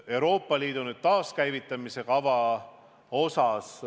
Euroopa Liidu taaskäivitamise kavast.